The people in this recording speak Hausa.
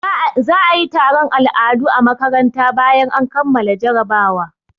Za a yi taron al'adu a makaranta bayan an kammala jarabawa.